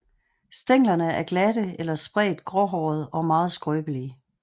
Stænglerne er glatte eller spredt gråhårede og meget skrøblige